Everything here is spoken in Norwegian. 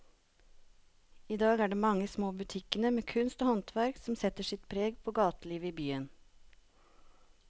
I dag er det de mange små butikkene med kunst og håndverk som setter sitt preg på gatelivet i byen.